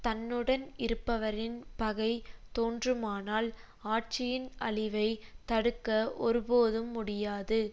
தன்னுடன் இருப்பவரின் பகை தோன்றுமானால் ஆட்சியின் அழிவை தடுக்க ஒருபோதும் முடியாது